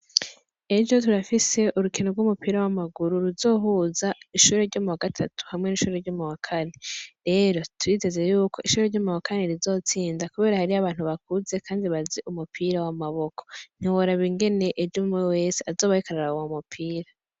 Ejo turafise urukino rw'umupira w'amaguru ruzohuza ishure ryo muwa gatatu hamwe n'ishure ryo muwa kane, rero turiteze yuko ishure ryo muwa kane rizotsinda kubera hariyo abantu bakuze kandi bazi umupira w'amaboko ,ntiworaba ingene ejo umw'umwe wese azoba ariko araraba uwo mupira.